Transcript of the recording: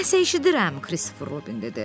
Nə isə eşidirəm, Kristofer Robin dedi.